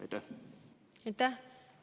Aitäh!